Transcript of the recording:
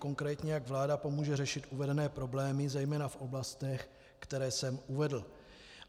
Konkrétně, jak vláda pomůže řešit uvedené problémy, zejména v oblastech, které jsem uvedl?